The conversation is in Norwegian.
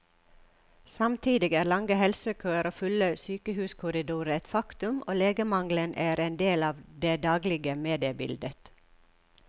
Samtidig er lange helsekøer og fulle sykehuskorridorer et faktum, og legemangelen er en del av det daglige mediebildet.